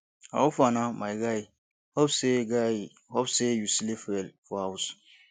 how far na my guy hope sey guy hope sey you sleep well for house